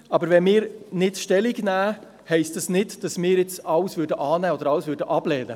Aber wenn wir nicht Stellung nehmen, heisst dies nicht, dass wir alles annehmen oder ablehnen.